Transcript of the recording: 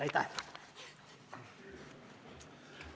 Aitäh!